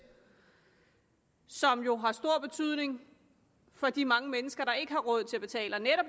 som jo har stor betydning for de mange mennesker der ikke har råd til at betale og